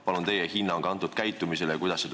Palun teie hinnangut sellisele käitumisele!